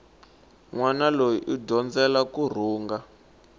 nwana loyi u dyondzela kurhunga